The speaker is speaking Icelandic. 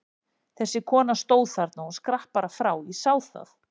Þessi kona stóð þarna, hún skrapp bara frá, ég sá það!